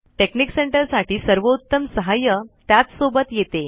technique centre साठी सर्वोत्तम सहाय्य त्याच सोबत येते